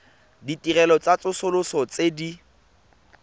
ditirelo tsa tsosoloso tse di